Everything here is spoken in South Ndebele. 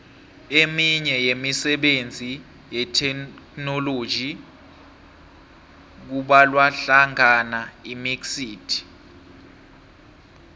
eminye yemisebenzi yetheknoloji kubalwahlangana imxit